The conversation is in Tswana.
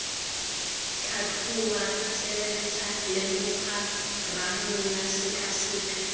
tlhatlhoba tsebentlha lemoga ranola sekaseka